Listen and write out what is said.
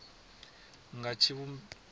nga tshivhumbeo tsha u sa